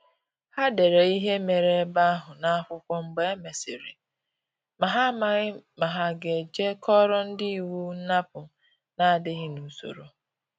Ha dere ihe mere ebe ahụ n’akwụkwọ mgbe e mesịrị, ma ha amaghi ma ha ga-eje koro ndi iwu nnapu na-adịghị n’usoro ahụ